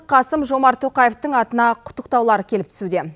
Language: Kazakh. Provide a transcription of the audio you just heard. қасым жомарт тоқаевтың атына құттықтаулар келіп түсуде